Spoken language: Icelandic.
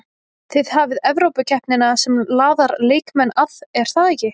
Þið hafið Evrópukeppnina sem laðar leikmenn að er það ekki?